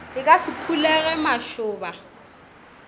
e ka se phulego mašoba